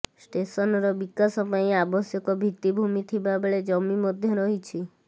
ଷ୍ଟେସନର ବିକାଶ ପାଇଁ ଆବଶ୍ୟକ ଭିତିଭୂମି ଥିବାବେଳେ ଜମି ମଧ୍ୟ ରହିଛି